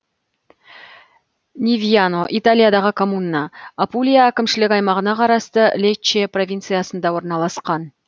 невьяно италиядағы коммуна апулия әкімшілік аймағына қарасты лечче провинциясында орналасқан